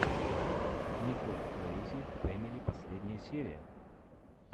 николь крэйзи фэмили последняя серия